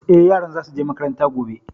Eh, yaran za su je makaranta gobe